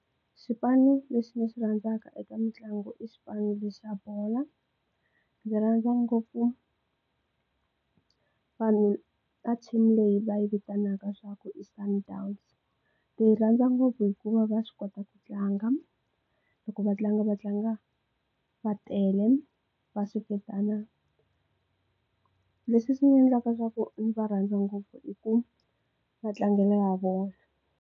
Xipanu lexi ni xi rhandzaka eka mitlangu i xipano lexi xa bolo ndzi rhandza ngopfu vanhu team leyi va yi vitanaka swa ku i Sundowns ti rhandza ngopfu hikuva va swi kota ku tlanga loko va tlanga va tlanga va tele va seketana leswi swi endlaka leswaku ndzi va rhandza ngopfu i ku ma tlangele ya vona.